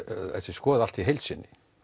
sé skoðað allt í heild sinni